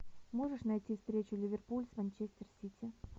можешь найти встречу ливерпуль с манчестер сити